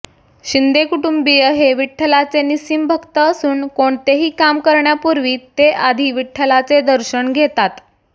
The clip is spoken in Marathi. शिंदे कुटुंबीय हे विठ्ठलाचे निस्सीम भक्त असून कोणतेही काम करण्यापूर्वी ते आधी विठ्ठलाचे दर्शन घेतात